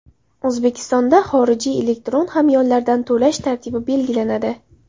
O‘zbekistonda xorijiy elektron hamyonlardan to‘lash tartibi belgilanadi.